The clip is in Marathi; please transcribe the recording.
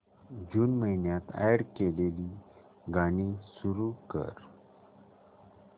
जून महिन्यात अॅड केलेली गाणी सुरू कर